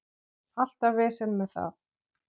Alltaf vesen með það.